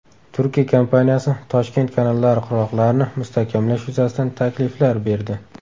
Turkiya kompaniyasi Toshkent kanallari qirg‘oqlarini mustahkamlash yuzasidan takliflar berdi.